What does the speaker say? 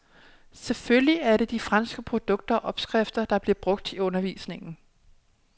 Selvfølgelig er det de franske produkter og opskrifter, der bliver brugt i undervisningen.